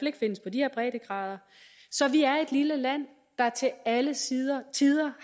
ikke findes på de her breddegrader så vi er et lille land der til alle tider tider